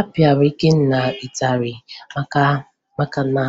A pịara Ikenna ịtarị maka na